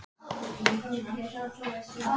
Hvaða ilmvatn ertu að nota?